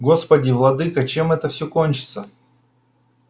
господи владыко чем это все кончится